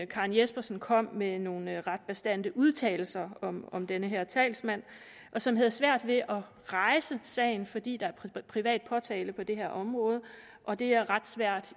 karen jespersen kom med nogle ret bastante udtalelser om om den her talsmand som havde svært ved at rejse sagen fordi der er privat påtale på det her område og det er ret svært